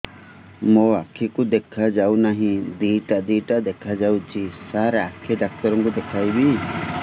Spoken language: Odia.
ମୋ ଆଖିକୁ ଦେଖା ଯାଉ ନାହିଁ ଦିଇଟା ଦିଇଟା ଦେଖା ଯାଉଛି ସାର୍ ଆଖି ଡକ୍ଟର କୁ ଦେଖାଇବି